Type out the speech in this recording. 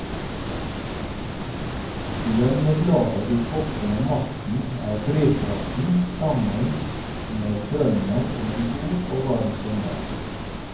Lønnebladet i toppen av masten er drivkraften sammen med drømmen om en god og varm sommer.